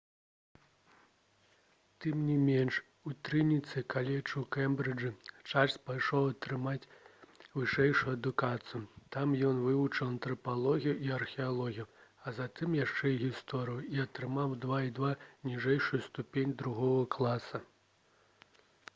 тым не менш у трыніці каледж у кембрыджы чарльз пайшоў атрымаць вышэйшую адукацыю. там ён вывучаў антрапалогію і археалогію а затым яшчэ і гісторыю і атрымаў 2:2 ніжэйшую ступень другога класа